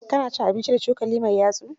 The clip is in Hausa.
ka na cin abinci da cokali mai yatsu?